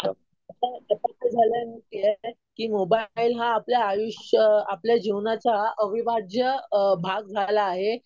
आता कस झालंय माहितीये कि मोबाईल हा आपल्या आयुष्य आपल्या जीवनाचा अविभाज्य भाग झाला आहे.